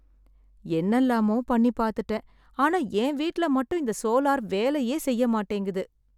என்னெல்லாமோ பண்ணி பாத்துட்டேன் ஆனா என் வீட்ல மட்டும் இந்த சோலார் வேலையே செய்ய மாட்டேங்குது.